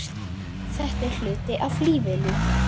Þetta er hluti af lífinu.